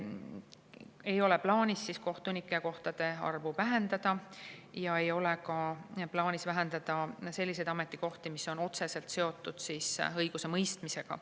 " Ei ole plaanis kohtunikukohtade arvu vähendada ja ei ole ka plaanis vähendada muid ametikohti, mis on otseselt seotud õigusemõistmisega.